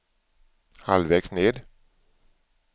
halvvägs ned